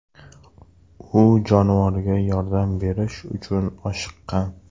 U jonivorga yordam berish uchun oshiqqan.